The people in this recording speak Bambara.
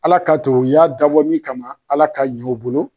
Ala k'a to u y'a dabɔ min kama Ala k'a ɲɛ o bolo.